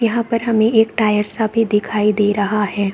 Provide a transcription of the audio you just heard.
यहां पर हमे एक टायर सा भी दिखाई दे रहा है।